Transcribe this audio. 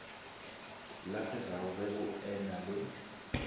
lahlegago ge go ena le